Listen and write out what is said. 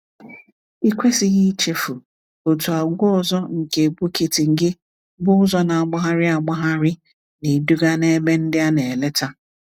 Ikwesịghị ichefu, otu àgwà ọzọ nke Bukittinggi bụ ụzọ na-agbagharị agbagharị na-eduga n’ebe ndị a na-eleta.